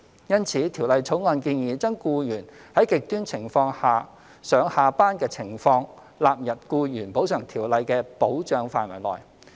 因此，《條例草案》建議將僱員在"極端情況"下上下班的情況納入《僱員補償條例》的保障範圍內。